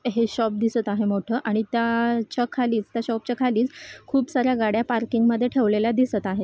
हे शॉप दिसत आहे मोठं आणि त्याच्या खालीच त्या शॉप च्या खालीच खूप सार्‍या गाड्या पार्किंग मध्ये ठेवलेल्या दिसत आहे.